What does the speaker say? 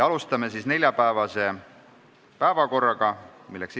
Alustame neljapäevase päevakorra käsitlust.